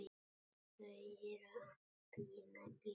Þau eru að bíða líka.